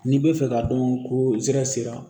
N'i b'a fɛ k'a dɔn ko nsɛrɛ sera